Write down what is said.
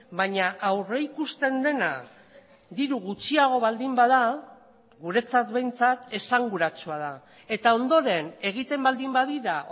baina aurrikusten dena diru gutxiago baldin bada guretzat behintzat esanguratsua da eta ondoren egiten baldin badira